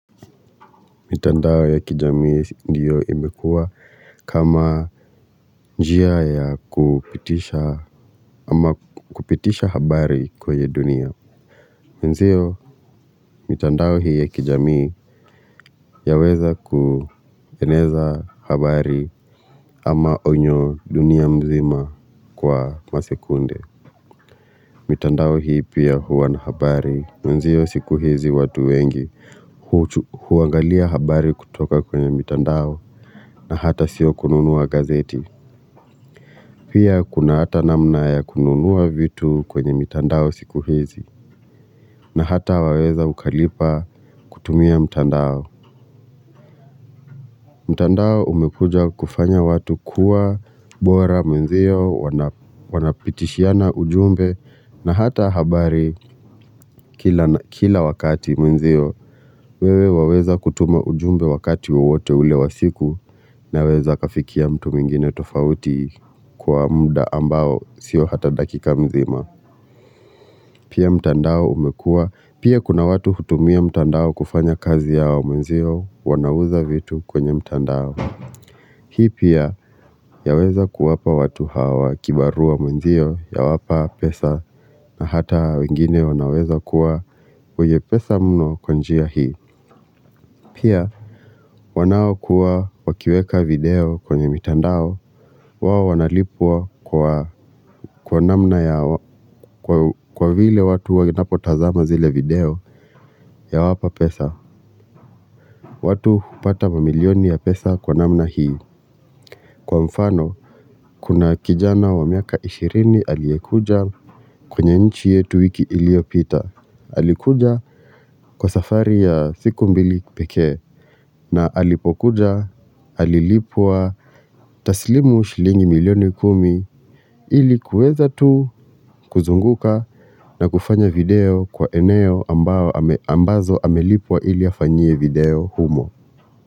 Mitandao ya kijamii ndiyo imekua kama njia ya kupitisha habari kwenye dunia. Nzio, mitandao hii ya kijamii yaweza kuheneza habari ama onyo dunia mzima kwa masekunde. Mitandao hii pia huwa na habari. Mwenzio siku hizi watu wengi huangalia habari kutoka kwenye mitandao na hata sio kununua gazeti. Pia kuna hata namna ya kununua vitu kwenye mitandao siku hizi na hata waweza ukalipa kutumia mtandao. Mtandao umekuja kufanya watu kuwa bora mwenzio wanapitishiana ujumbe na hata habari kila wakati mwenzio. Wewe waweza kutuma ujumbe wakati wewote ule wasiku naweza kafikia mtu muingine tofauti kwa muda ambao sio hata dakika mzima. Pia mtandao umekua. Pia kuna watu hutumia mtandao kufanya kazi yao mwenzio wanawuza vitu kwenye mtandao. Hii pia yaweza kuwapa watu hawa kibarua mwenzio yawapa pesa na hata wengine wanaweza kuwa wenye pesa mno kwa njia hii. Pia, wanao kuwa wakiweka video kwenye mitandao, wao wanalipua kwa kwa namna ya kwa vile watu wanapotazama zile video yawapa pesa. Watu upata mamilioni ya pesa kwa namna hii. Kwa mfano, kuna kijana wa miaka ishirini alikuja kwenye nchi yetu wiki iliopita. Alikuja kwa safari ya siku mbili peke. Na alipokuja, alilipua tasilimu shilingi milioni kumi ilikuweza tu kuzunguka na kufanya video kwa eneo ambazo amelipua ili afanyie video humo.